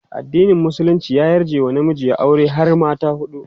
addinin musulunci ya yarje wa namiji ya aure har mata huɗu